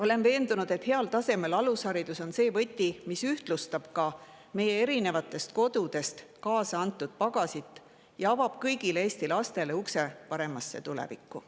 Olen veendunud, et heal tasemel alusharidus on võti, mis ühtlustab erinevatest kodudest kaasa antud pagasit ja avab kõigile Eesti lastele ukse paremasse tulevikku.